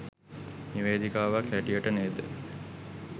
නිවේදිකාවක් හැටියට නේද